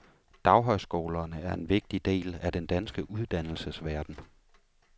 Daghøjskolerne er en vigtig del af den danske uddannelsesverden.